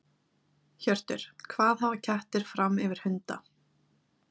Hjörtur: Hvað hafa kettir fram yfir hunda?